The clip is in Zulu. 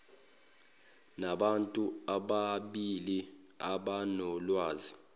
nabantu ababili abanolwazi